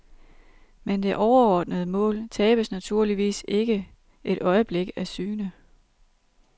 Men det overordnede mål tabes naturligvis ikke et øjeblik af syne.